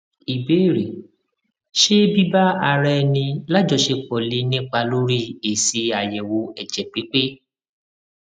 ìbéèrè ṣé biba ara eni lajosepo lè nípa lórí esi ayewo ẹjẹ pipe